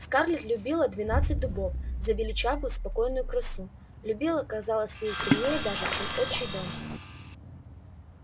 скарлетт любила двенадцать дубов за величавую спокойную красу любила казалось ей сильнее даже чем отчий дом